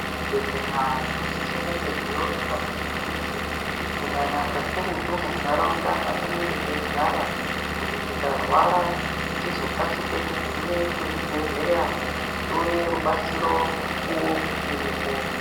Zvibhehleya zvinosise kunge zveionekwa peshe peshe kunyanya kakurutu munharaunda mwatinenge teigara kuti tikarwara tizokasike kugume kuzvibhehleya tione rubatsiro mukuwo uchiripo.